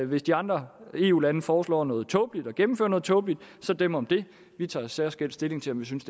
hvis de andre eu lande foreslår noget tåbeligt og gennemfører noget tåbeligt så dem om det vi tager særskilt stilling til om vi synes